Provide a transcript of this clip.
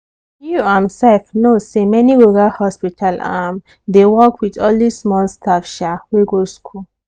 you um sef know say many rural hospital um dey work with only small staff um wey go school.